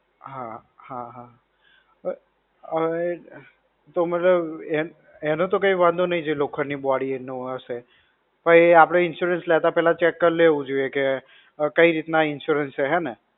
હા. હા હા. હવે, એટલે એનો તો કઈ વાંધો નઇ જેની લોખંડ ની body હશે, પણ આપણે insurance લેતા પેલા check કરી લેવું જોઈએ કે, કઈ રીતના insurance છે હે ને?